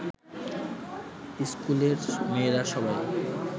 ইস্কুলের মেয়েরা সবাই